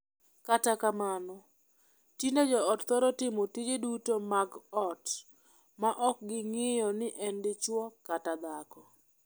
Kata kamano, tinde joot thoro timo tije duto mag ot ma ok ging'iyo ni en dichwo kata dhako.